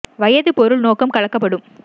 வயது பொருள் நோக்கம் கலக்கப்படும்